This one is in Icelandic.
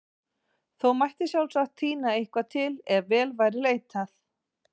Þó mætti sjálfsagt tína eitthvað til ef vel væri leitað.